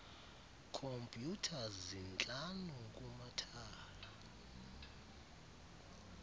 khompyutha zintlanu kumathala